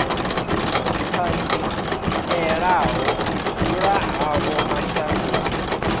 ṱanzielaho u dzula havho mashangoni